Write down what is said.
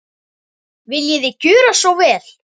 Viljiði gjöra svo vel.